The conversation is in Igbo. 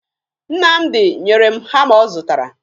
Nnamdị nyere m hama ọ zụtara